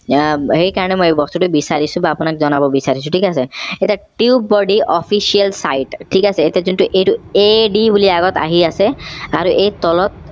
আহ সেই কাৰণে মই এই বস্তুটো বিছাৰিছো বা আপোনাক জনাব বিছাৰিছো ঠিক আছে এতিয়া tubebuddy official ঠিক আছে এতিয়া যোনটো এইটো ad বুলি আগত আহি আছে আৰু এই তলত